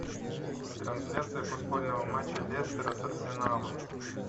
трансляция футбольного матча лестера с арсеналом